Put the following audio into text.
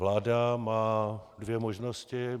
Vláda má dvě možnosti.